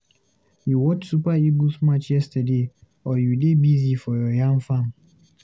You watch Super Eagles match yesterday, or you dey busy for your yam farm?